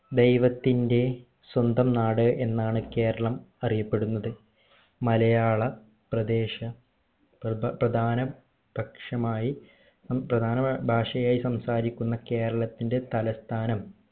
ദൈവത്തിന്റെ സ്വന്തം നാട് എന്നാണ് കേരളം അറിയപ്പെടുന്നത് മലയാള പ്രദേശ പ്ര പ്രധാന പക്ഷമായി പ്രധാന ഭാഷയായി സംസാരിക്കുന്ന കേരളത്തിന്റെ തലസ്ഥാനം